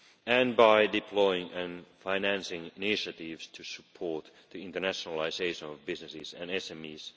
and by deploying and financing initiatives to support the internationalisation of businesses and SMEs.